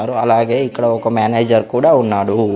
అలాగే ఇక్కడ ఒక మేనేజర్ కూడా ఉన్నాడు.